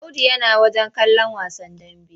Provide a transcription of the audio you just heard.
Audu yana wajen kallon wasan dambe.